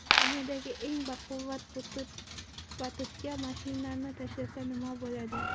Dunyodagi eng baquvvat batutga mashinani tashlasa, nima bo‘ladi?